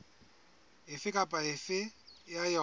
efe kapa efe ya yona